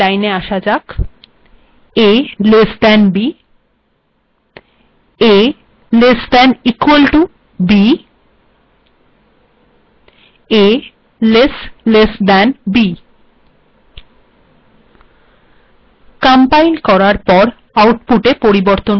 এবার লেখা যাক a less than b a less than or equal to b a less less than b compile করলে আউটপুটে দেখা যাচ্ছে a bএর থেকে ছোট